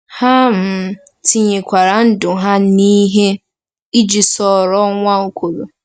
Ha um tinyekwara ndụ ha n’ihe iji soro Nwaokolo.